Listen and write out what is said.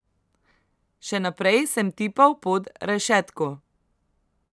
Še naprej sem tipal pod rešetko.